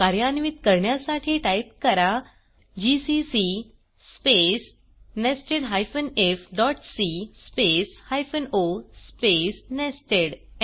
कार्यान्वित करण्यासाठी टाईप करा जीसीसी स्पेस nested ifसी space hyphen o space nested